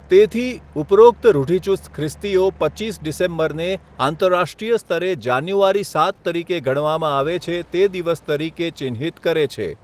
તેથી, ઉપરોક્ત રૂઢિચુસ્ત ખ્રિસ્તીઓ પચીસ ડિસેમ્બરને આંતરરાષ્ટ્રીય સ્તરે જાન્યુઆરી સાત તરીકે ગણવામાં આવે છે તે દિવસ તરીકે ચિહ્નિત કરે છે.